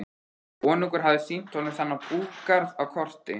Konungur hafði sýnt honum þennan búgarð á korti.